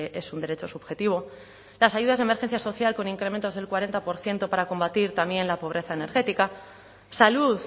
es un derecho subjetivo las ayudas de emergencia social con incrementos del cuarenta por ciento para combatir también la pobreza energética salud